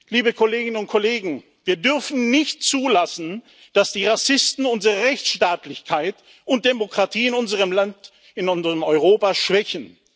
Liebe Kolleginnen und Kollegen, wir dürfen nicht zulassen, dass die Rassisten unsere Rechtsstaatlichkeit und Demokratie in unserem Land, in unserem Europa schwächen.